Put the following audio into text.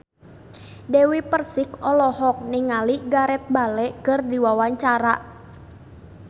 Dewi Persik olohok ningali Gareth Bale keur diwawancara